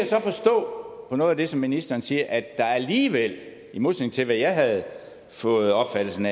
så forstå på noget af det som ministeren siger at der alligevel i modsætning til hvad jeg havde fået opfattelsen